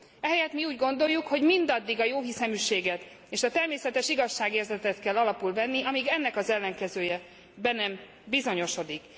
Ehelyett mi úgy gondoljuk, hogy mindaddig a jóhiszeműséget és a természetes igazságérzetet kell alapul venni, amíg ennek az ellenkezője be nem bizonyosodik.